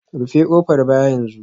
Rufe kofar baya yanzu